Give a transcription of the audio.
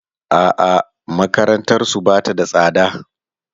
A'a makarantarsu ba ta da tsada.